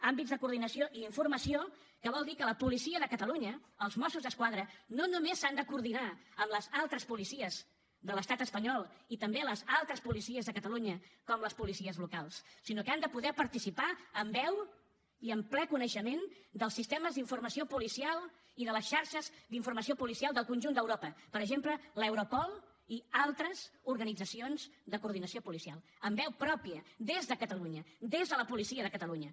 àmbits de coordinació i informació que vol dir que la policia de catalunya els mossos d’esquadra no només s’han de coordinar amb les altres policies de l’estat espanyol i també les altres policies de catalunya com les policies locals sinó que han de poder participar amb veu i amb ple coneixement dels sistemes d’informació policial i de les xarxes d’informació policial del conjunt d’europa per exemple l’europol i altres organitzacions de coordinació policial amb veu pròpia des de catalunya des de la policia de catalunya